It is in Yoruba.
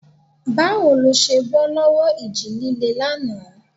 Báwo lẹ ṣe bọ́ lọ́wọ́ ìjì líle lánàá?